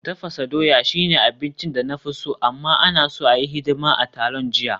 Tafasa dawa shine abincin da na fi so, amma, ana so a yi hidima a taron jiya